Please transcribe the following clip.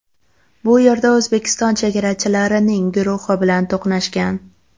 Bu yerda O‘zbekiston chegarachilarining guruhi bilan to‘qnashgan.